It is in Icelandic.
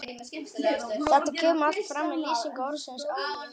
Þetta kemur allt fram í lýsingu orðsins áhugi